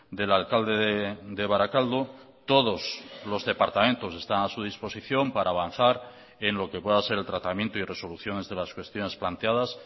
del alcalde de barakaldo todos los departamentos están a su disposición para avanzar en lo que pueda ser el tratamiento y resoluciones de las cuestiones planteadas